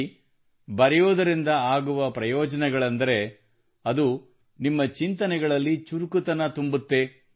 ನೋಡಿ ಬರೆಯುವುದರಿಂದ ಆಗುವ ಪ್ರಯೋಜನವೆಂದರೆ ಅದು ನಿಮ್ಮ ಚಿಂತನೆಗಳಲ್ಲಿ ಚುರುಕುತನ ತುಂಬುತ್ತದೆ